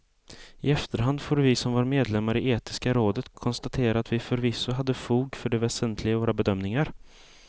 I efterhand får vi som var medlemmar i etiska rådet konstatera att vi förvisso hade fog för det väsentliga i våra bedömningar.